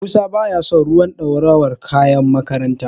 Musa baya son ruwan dorawar kayan makaranta.